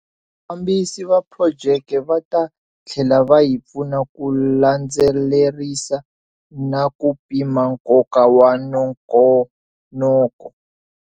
Vafambisi va projeke va ta tlhela va hi pfuna ku landzelerisa na ku pima nkoka wa nongonoko.